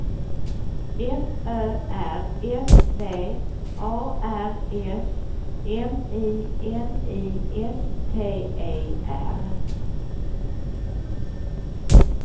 F Ö R S V A R S M I N I S T E R